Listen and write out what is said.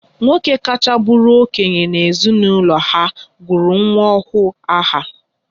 Nwoke kacha bụrụ okenye na-ezinaụlọ ha gụrụ nwa ọhụrụ aha